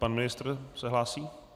Pan ministr se hlásí.